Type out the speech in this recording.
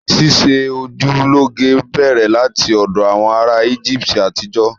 Ṣíṣe ojú lọ́ge bẹ̀rẹ̀ láti ọ̀dọ̀ àwọn ará Íjíbítì àtijọ́